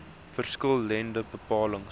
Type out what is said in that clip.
verskil lende bepalings